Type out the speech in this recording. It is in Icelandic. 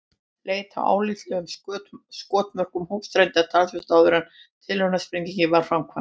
Leit að álitlegum skotmörkum hófst reyndar talsvert áður en tilraunasprengingin var framkvæmd.